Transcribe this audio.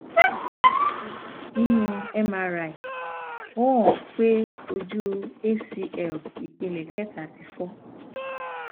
sibẹsibẹ ninu mri o han pe oju acl ipele keta ti fọ